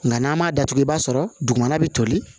Nka n'an m'a datugu i b'a sɔrɔ dugumana bɛ toli